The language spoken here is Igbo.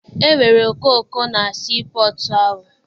E nwere okooko na sii pọtụ ahụ.